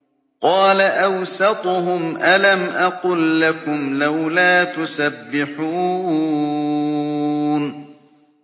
قَالَ أَوْسَطُهُمْ أَلَمْ أَقُل لَّكُمْ لَوْلَا تُسَبِّحُونَ